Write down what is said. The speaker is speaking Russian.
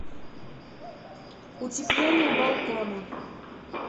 утепление балкона